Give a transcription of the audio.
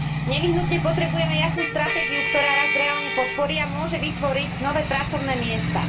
Nevyhnutne potrebujeme jasnú stratégiu, ktorá rast reálne podporí a môže vytvoriť nové pracovné miesta.